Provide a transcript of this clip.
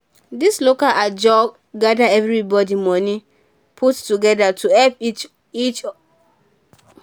di local ajo group gather everybody moni put together to help each person start small-small business.